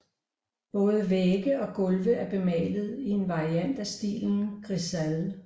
Både vægge og gulve er bemalet i en variant af stilen grisaille